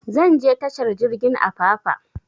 Zan je tashar jirgin apapa